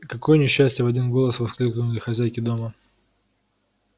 какое несчастье в один голос воскликнули хозяйки дома